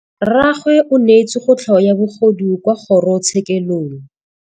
Rragwe o neetswe kotlhaô ya bogodu kwa kgoro tshêkêlông.